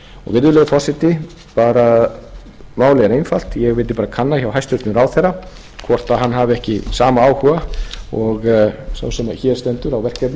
virðulegur forseti málið er einfalt ég vildi kanna hjá hæstvirtum ráðherra hvort hann hafi ekki sama áhuga og sá sem hér stendur á verkefninu og á ég